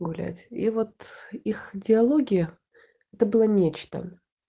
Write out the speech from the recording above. гулять и вот их диалоги это было нечто